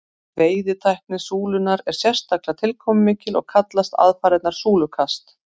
veiðitækni súlunnar er sérstaklega tilkomumikil og kallast aðfarirnar súlukast